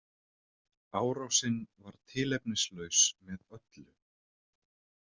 Árásin var tilefnislaus með öllu